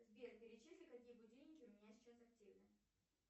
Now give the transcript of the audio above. сбер перечисли какие будильники у меня сейчас активны